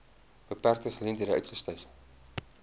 beperkte geleenthede uitgestyg